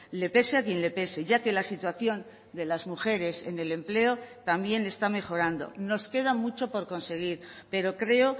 le pese a quien le pese ya que la situación de las mujeres en el empleo también está mejorando nos queda mucho por conseguir pero creo